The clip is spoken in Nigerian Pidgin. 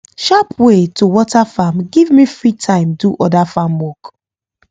sharp way to water farm give me free time do other farm work